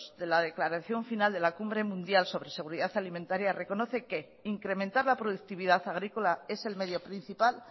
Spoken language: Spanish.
de la declaración final de la cumbre mundial sobre seguridad alimentariareconoce que incrementar la productividad agrícola es el medio principal